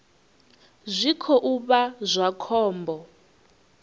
zwi khou vha zwa khombo